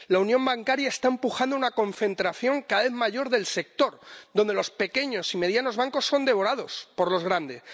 La unión bancaria está empujando a una concentración cada vez mayor del sector, donde los pequeños y medianos bancos son devorados por los grandes.